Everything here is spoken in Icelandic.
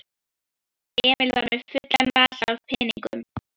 Emil var með fulla vasa af peningum.